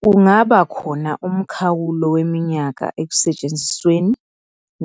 Kungabakhona umkhawulo weminyaka ekusetshenzisweni